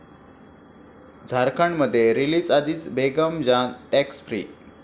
झारखंडमध्ये रिलीजआधीच 'Begum Jaan' 'tax free'